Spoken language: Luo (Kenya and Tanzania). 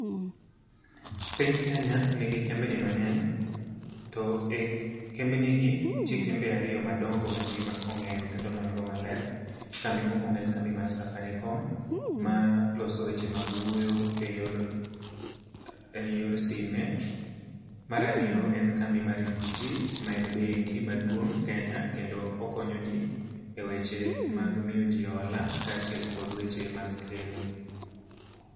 Piny Kenya nigi kembni mang'eny, to e kembni gi nitie kembe ariyo madongo ma ji ong'eyo kendo olonygo maber. Kambi mokwongo en kambi mar Safaricom, ma loso weche mag wuoyo e yor sime. Marariyo en kambi mar Equity ma en bengi maduong' Kenya. Kendo okonyo ji e weche mag miyo ji hola kaachiel kod weche mag keno.